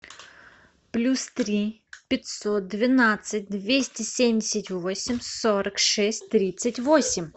плюс три пятьсот двенадцать двести семьдесят восемь сорок шесть тридцать восемь